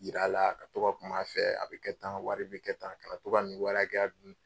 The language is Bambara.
Yir'a la, ka to ka kum'a fɛ, a bi kɛ tan, nin wari bi kɛ tan , ka na to ka ni wari hakɛya dun